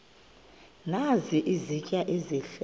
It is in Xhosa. nazi izitya ezihle